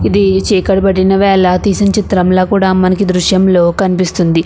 ఇది చీకటి పడిన వేళ తీసిన చిత్రం ల మనకి ఈ దృశ్యం లో కనిపిస్తుంది.